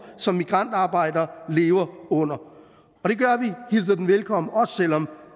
som migrantarbejdere lever under vi hilser den velkommen også selv om